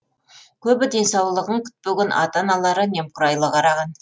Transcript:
көбі денсаулығын күтпеген ата аналары немқұрайлы қараған